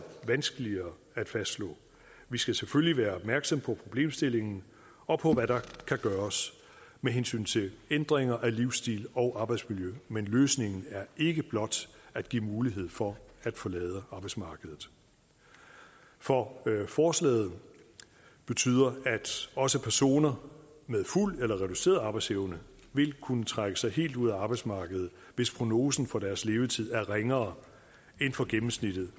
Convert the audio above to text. vanskeligere at fastslå vi skal selvfølgelig være opmærksomme på problemstillingen og på hvad der kan gøres med hensyn til ændringer af livsstil og arbejdsmiljø men løsningen er ikke blot at give mulighed for at forlade arbejdsmarkedet for forslaget betyder at også personer med fuld eller reduceret arbejdsevne vil kunne trække sig helt ud af arbejdsmarkedet hvis prognosen for deres levetid er ringere end for gennemsnittet